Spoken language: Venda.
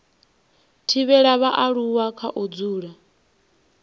thivhela vhaaluwa kha u dzula